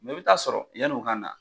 Mɛ i bɛ t'a sɔrɔ yann'u na